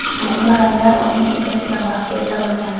Muhimi, ranglar uning egasiga mos kelsa bo‘lgani.